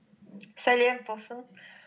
сәлем талшын